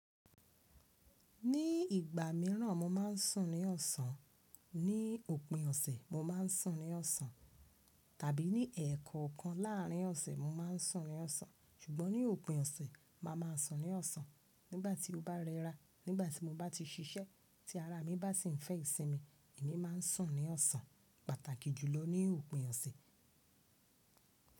Ní ìgbà míràn mo máa ń sùn ní ọ̀sán. Ní òpin ọ̀sẹ̀ mo máa ń sùn ní ọ̀sán tàbí ní ẹẹ́kọ̀ọ́kan láàrin ọ̀sẹ̀ mo máa ń sùn ní ọ̀sán. Ṣùgbọ́n ní òpin ọ̀sẹ̀, màá máa sùn ní ọ̀sán nígbà tí ó bá rẹ́ra, nígbà tí mo bá ti ṣiṣẹ́, tí ara mi bá sì ń fẹ́ ìsinmi, èmi máa ń sùn ní ọ̀sán. Pàtàkì jùlọ ní òpin ọ̀sẹ̀.